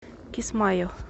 кисмайо